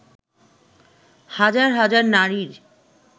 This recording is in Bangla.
হাজার হাজার নারীর